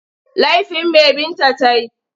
Laifin me Binta ta yi?